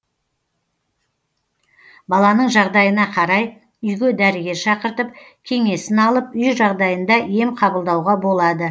баланың жағдайына қарай үйге дәрігер шақыртып кеңесін алып үй жағдайында ем қабылдауға болады